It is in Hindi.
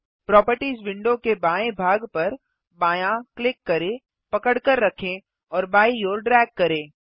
प्रोपर्टिज विंडो के बाएँ भाग पर बायाँ क्लिक करें पकड़कर रखें और बायीं ओर ड्रैग करें